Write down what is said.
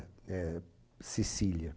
Sicília, é